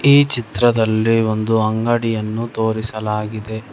ಈ ಚಿತ್ರದಲ್ಲಿ ಒಂದು ಅಂಗಡಿಯನ್ನು ತೋರಿಸಲಾಗಿದೆ.